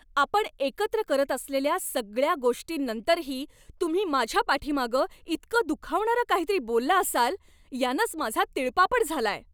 आपण एकत्र करत असलेल्या सगळ्या गोष्टींनंतरही तुम्ही माझ्या पाठीमागे इतकं दुखावणारं काहीतरी बोलला असाल यानंच माझा तिळपापड झालाय.